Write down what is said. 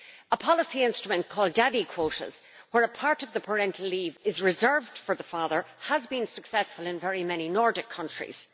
A policy instrument called daddy quotas' where a part of the parental leave is reserved for the father has been successful in very many Nordic countries.